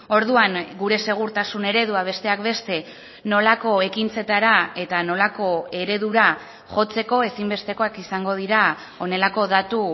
orduan gure segurtasun eredua besteak beste nolako ekintzetara eta nolako eredura jotzeko ezinbestekoak izango dira honelako datu